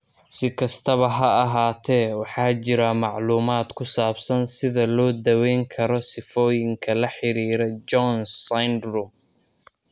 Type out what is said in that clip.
Si kastaba ha ahaatee, waxaa jira macluumaad ku saabsan sida loo daweyn karo sifooyinka la xiriira Jones syndrome.